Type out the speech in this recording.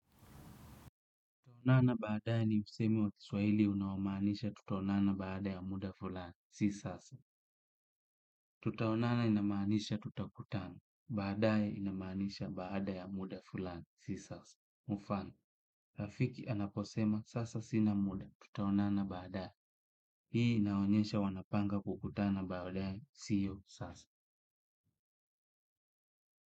Tutaonana baadae ni msemo wa kiswahili unaomaanisha tutaonana baada ya muda fulani. Si sasa. Tutaonana inamaanisha tutakutana. Baadae inamanisha baada ya muda fulani. Si sasa. Mfano. Rafiki anaposema sasa sina muda. Tutaonana baadae. Hii inaonyesha wanapanga kukutana baadae. Sio sasa.